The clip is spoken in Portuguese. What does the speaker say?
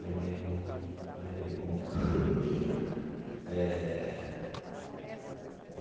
Levei um levei bomba eh.